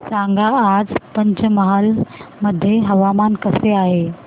सांगा आज पंचमहाल मध्ये हवामान कसे आहे